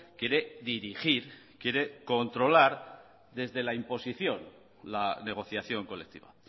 quiere dirigir quiere controlar desde la imposición la negociación colectiva